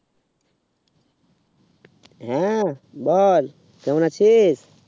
হু বল কেমন আছিস?